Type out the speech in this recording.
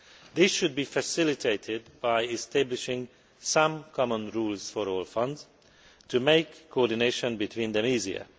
This should be facilitated by establishing some common rules for all funds to make coordination between them easier.